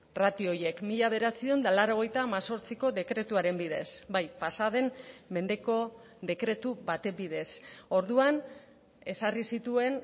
ratio horiek mila bederatziehun eta laurogeita hemezortziko dekretuaren bidez bai pasaden mendeko dekretu baten bidez orduan ezarri zituen